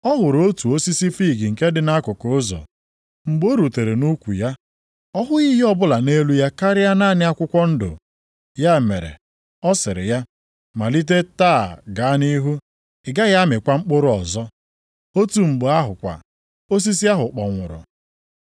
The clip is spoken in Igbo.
Ọ hụrụ otu osisi fiig nke dị nʼakụkụ ụzọ. Mgbe o rutere nʼukwu ya, ọ hụghị ihe ọbụla nʼelu ya karịa naanị akwụkwọ ndụ. Ya mere, ọ sịrị ya, “Malite taa gaa nʼihu, ị gaghị amịkwa mkpụrụ ọzọ!” Otu mgbe ahụ kwa, osisi ahụ kpọnwụrụ.